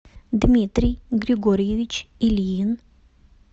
дмитрий григорьевич ильин